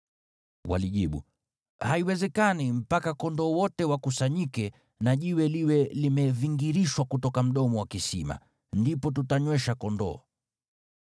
Walijibu, “Haiwezekani, mpaka kondoo wote wakusanyike na jiwe liwe limevingirishwa kutoka mdomo wa kisima. Ndipo tutanywesha kondoo.”